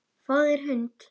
Fáðu þér hund.